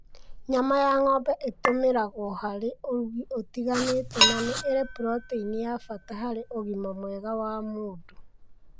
Nyama ya ng'ombe ĩtũmĩragwo harĩ ũrugi ũtiganĩte na nĩ ĩrĩ proteini ya bata harĩ ũgima mwega wa mũndũ.